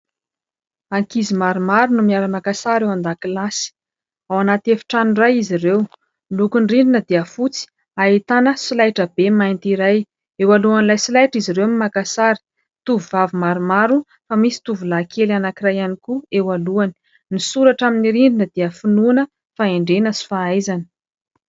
Ankizy maromaro no miara-maka sary eo an-dakilasy, ao anaty efitrano iray izy ireo. Lokony rindrina dia fotsy ahitana solaitra be mainty iray, eo alohan'ilay solaitra izy ireo miara-makasary. Tovovavy maromaro fa misy tovolahy kely anankiray ihany koa eo alohany, ny soratra amin'ny rindrina dia finoana, fahendrena sy fahaizana.